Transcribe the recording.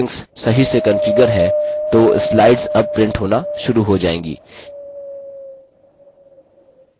यदि आपके printer की settings सही से कन्फिगर है तो slides अब printer होना शुरू हो जाएँगी